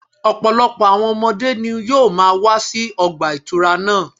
Ọ̀pọ̀lọpọ̀ àwọn ọmọdé ni yóò máa wá sí ọgbà ìtura náà